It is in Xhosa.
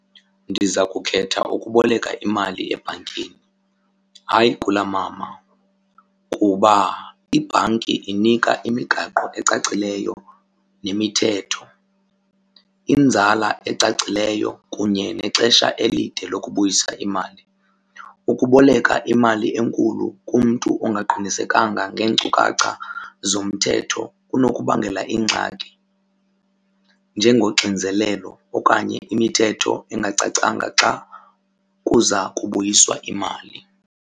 Ndiza kukhetha ukuboleka imali ebhankini hayi kulaa mama kuba ibhanki inika imigaqo ecacileyo nemithetho, inzala ecacileyo kunye nexesha elide lokubuyisa imali. Ukuboleka imali enkulu kumntu ongaqinisekanga ngeenkcukacha zomthetho kunokubangela ingxaki njengoxinzelelo okanye imithetho engacacanga xa kuza kubuyiswa imali.